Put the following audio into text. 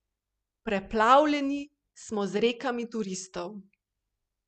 Preplavljeni smo z rekami turistov.